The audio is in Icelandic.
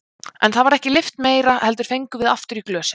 En það var ekki lyft meira heldur fengum við aftur í glösin.